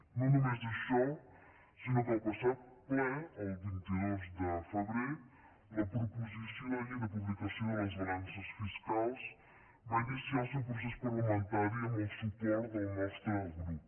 no només això sinó que al passat ple el vint dos de febrer la proposició de llei de publicació de les balances fis·cals va iniciar el seu procés parlamentari amb el su·port del nostre grup